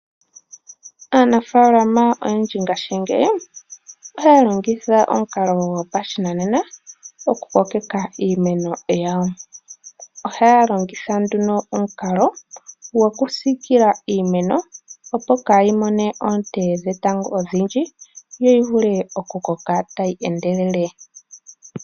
Aanafaalama oyendji ngaashingeyi ohaya longitha omukalo gopashinanena oku kokeka iimeno yawo. Ohaya longitha nduno omukalo gokusiikila iimeno, opo kaa yi mone onte dhetango odhindji yo yi vule oku koka tayi endelele.